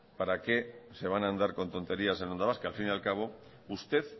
para qué se van a andar con tonterías en onda vasca al fin al cabo usted